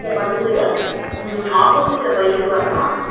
அங்க வந்து Opposite ல பைக் வரான்